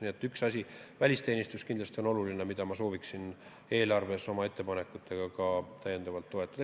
Nii et üks asi, välisteenistus, on kindlasti nii oluline, et ma sooviksin teha ettepanekud seda eelarvest täiendavalt toetada.